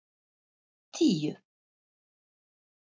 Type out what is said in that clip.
tíu